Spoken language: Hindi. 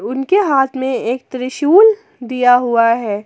उनके हाथ में एक त्रिशूल दिया हुआ है।